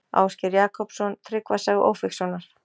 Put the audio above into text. Ásgeir Jakobsson: Tryggva saga Ófeigssonar.